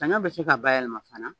Saɲɔ bɛ se ka bayɛlɛma fana